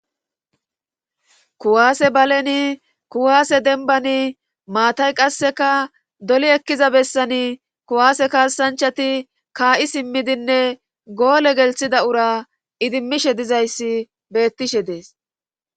kuwaase baleni kuwaase denbani maatay qasseka doli ekkiza bessani kuwaase kaassanchati kaa7i simmidinne goole gelthida ura idimmishe dizayssi beettishe dees